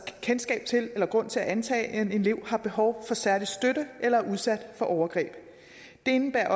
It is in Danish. kendskab til eller grund til at antage at en elev har behov for særlig støtte eller er udsat for overgreb det indebærer